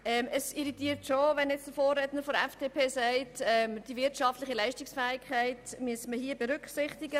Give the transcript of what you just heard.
Es irritiert schon, wenn mein Vorredner von der FDP sagt, hier müsse man die wirtschaftliche Leistungsfähigkeit berücksichtigen.